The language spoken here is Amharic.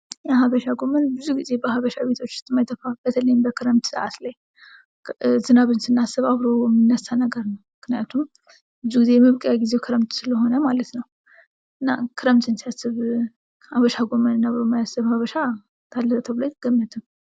የሀበሻ ጎመን ብዙ ጊዜ በሀበሻ ቤቶች ላይ የማይጠፋ በተለይም በክረምት ሰአት ላይ ዝናብን ስናስብ አብሮ የሚነሳ ነገር ነው። ምክንያቱም ብዙ ጊዜ የመብቀያ ጊዜው ክረምት ስለሆነ ማለት ነው። እና ክረምትን ሲያስብ ሀበሻ ጎመንን አብሮ የማያስብ ሀበሻ አለ ተብሎ አይገመትም።